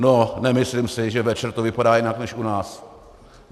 No nemyslím si, že večer to vypadá jinak než u nás.